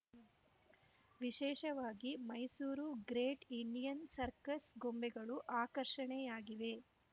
ವಿಶೇಷವಾಗಿ Mysuru great Indian circus ಗೊಂಬೆಗಳು ಆಕರ್ಷಣೆಯಾಗಿವೆ